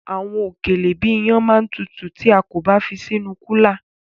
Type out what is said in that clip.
Àwọn òkèlè bíi iyán ma tutù tí a kò bá fi sí inú kúlà.